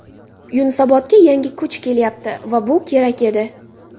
Yunusobodga yangi kuch kelyapti va bu kerak edi.